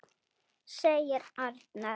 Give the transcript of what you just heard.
segir Arnar.